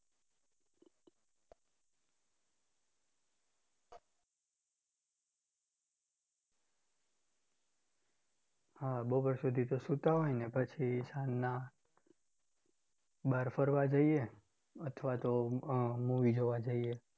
હા બપોર સુધી તો સુતા હોય અને પછી સાંજના બહાર ફરવા જઈએ અથવા તો અમ movie જોવા જઈએ.